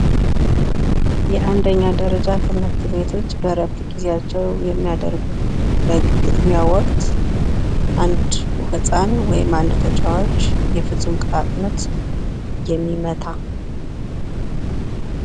የአንደኛ ደረጃ ትምህርት ቤቶች በረፍት ጊዜያቸው ግጥሚያ ወቅት አንድ ህጻን ወይም አንድ ተጫዋች የፍጹም ቅጣት ምት የሚመታ።